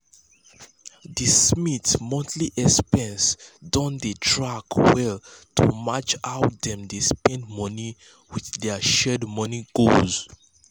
[?[d smiths monthly expenses don um dey tracked well to match how dem dey spend money with dir shared money goals.